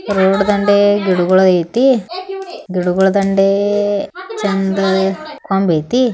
Road ದಂಡೆ ಗಿಡಗುಳ್ ಐತಿ ಗಿಡಗುಳ್ ದಂಡೆ ಚಂದ್ ಕೊಂಬ್ ಏತಿ .